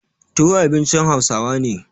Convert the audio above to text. Tuwo abincin Hausawa ne.